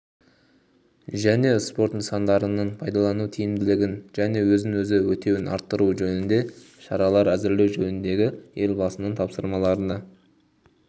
және спорт нысандарының пайдалану тиімділігін және өзін-өзі өтеуін арттыру жөнінде шаралар әзірлеу жөніндегі елбасының тапсырмаларына